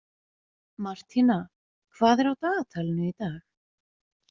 Martína, hvað er á dagatalinu í dag?